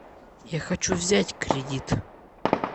я хочу взять кредит